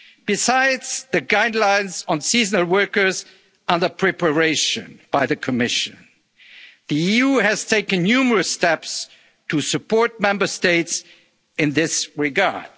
hygiene products. Besides the guidelines on seasonal workers under preparation by the Commission, the EU has taken numerous steps to support Member States